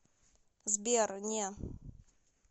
сбер не